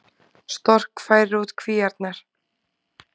Stork færir út kvíarnar